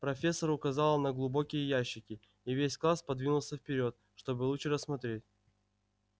профессор указала на глубокие ящики и весь класс подвинулся вперёд чтобы лучше рассмотреть